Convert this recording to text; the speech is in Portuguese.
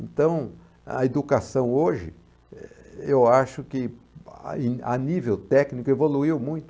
Então, a educação hoje, eh, eu acho que a a nível técnico evoluiu muito.